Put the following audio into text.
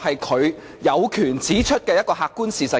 她有權指出這個客觀事實。